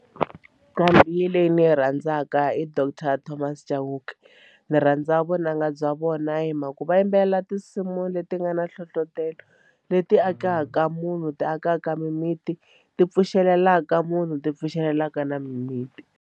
Nqambi leyi ni yi rhandzaka i doctor Thomas Chauke ndzi rhandza vunanga bya vona hi mhaka ku va yimbelela tinsimu leti nga na nhlohlotelo leti akaka munhu ti akaka mimiti ti pfuxelela mhaka munhu ti pfumelelaka na mimiti.